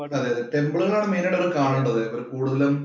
അതെയതെ, ടെമ്പിള്‍ ഒക്കെയാ മെയിന്‍ ആയിട്ട് അവര്‍ക്ക് കാണേണ്ടത് കൂടുതലും